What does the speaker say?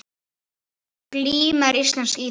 Glíma er íslensk íþrótt.